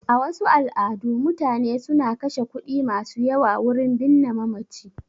A wasu al'adu, mutane suna kashe kuɗi masu yawa wurin binne mamaci